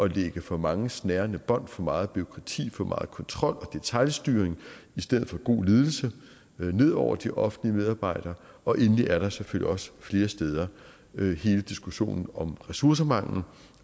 lægge for mange snærende bånd for meget bureaukrati for meget kontrol og detailstyring i stedet for god ledelse ned over de offentlige medarbejdere og endelig er der selvfølgelig også flere steder hele diskussionen om ressourcemangel